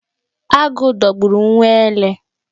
Agụ dogburu nwa ele.